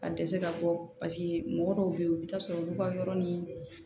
Ka dɛsɛ ka bɔ paseke mɔgɔ dɔw bɛ yen u bɛ taa sɔrɔ olu ka yɔrɔ ni